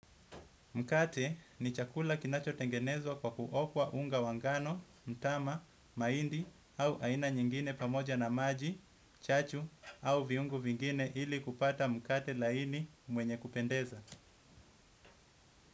Mkate ni chakula kinachotengenezwa kwa kuokwa unga wa ngano, mtama, mahindi au aina nyingine pamoja na maji, chachu au viungo vingine ili kupata mkate laini mwenye kupendeza.